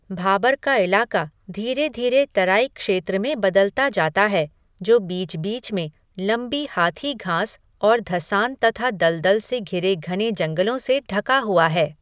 भाबर का इलाका धीरे धीरे तराई क्षेत्र में बदलता जाता है जो बीच बीच में लंबी हाथी घास और धँसान तथा दलदल से घिरे घने जंगलों से ढका हुआ है।